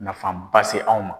Nafaba se anw ma.